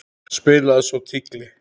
Spilaði svo tígli.